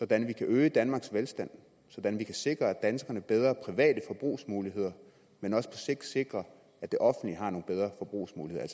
kan øge danmarks velstand så vi kan sikre danskerne bedre private forbrugsmuligheder men også på sigt sikre at det offentlige har nogle bedre forbrugsmuligheder